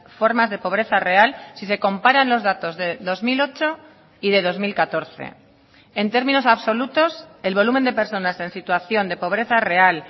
formas de pobreza real si se comparan los datos de dos mil ocho y de dos mil catorce en términos absolutos el volumen de personas en situación de pobreza real